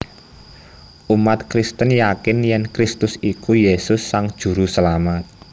Umat Kristen yakin yèn Kristus iku Yesus Sang Juruselamat